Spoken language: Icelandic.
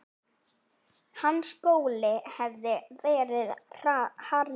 Hans skóli hafði verið harður.